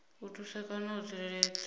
u thusa kana u tsireledza